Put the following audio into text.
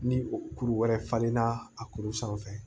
Ni kuru wɛrɛ falenna a kuru sanfɛ